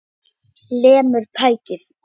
Lemur tækið.